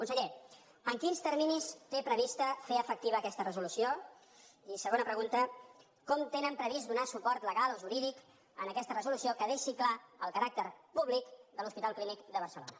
conseller en quins terminis té previst fer efectiva aquesta resolució i segona pregunta com tenen previst donar suport legal o jurídic a aquesta resolució que deixi clar el caràcter públic de l’hospital clínic de barcelona